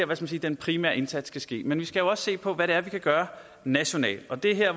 man sige den primære indsats skal ske men vi skal jo også se på hvad det er vi kan gøre nationalt det er her